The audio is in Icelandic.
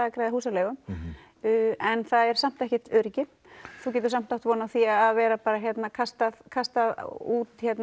að greiða húsaleigu en það er samt ekkert öryggi þú getur samt átt von á því að vera kastað kastað út